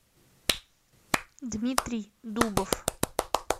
дмитрий дубов